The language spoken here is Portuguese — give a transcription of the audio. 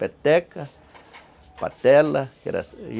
Peteca, patela